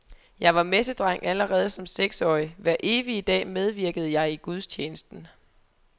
Jeg var messedreng allerede som seksårig, hver evige dag medvirkede jeg i gudstjenesten.